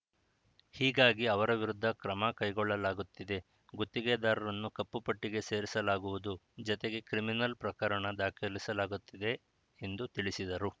ಹೀಗಾಗಿ ಅವರ ವಿರುದ್ಧ ಕ್ರಮಕೈಗೊಳ್ಳಲಾಗುತ್ತಿದೆ ಗುತ್ತಿಗೆದಾರನನ್ನು ಕಪ್ಪು ಪಟ್ಟಿಗೆ ಸೇರಿಸಲಾಗುವುದು ಜತೆಗೆ ಕ್ರಿಮಿನಲ್‌ ಪ್ರಕರಣ ದಾಖಲಿಸಲಾಗುತ್ತದೆ ಎಂದು ತಿಳಿಸಿದರು